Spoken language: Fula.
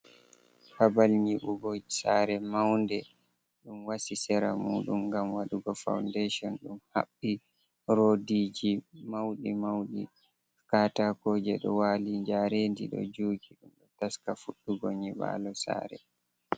Babal nyiɓugo sare maunde. Ɗum wasi sera mudum ngam wadugo faundation. Ɗum haɓɓi rodiji mauɗi-mauɗi, katakoje ɗo wali, jarendi ɗo jugi. Ɗum ɗo taska fuɗɗugo nyiɓalo sare.